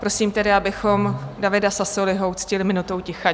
Prosím tedy, abychom Davida Sassoliho uctili minutou ticha.